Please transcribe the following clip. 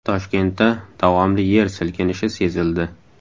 Toshkentda davomli yer silkinishi sezildi .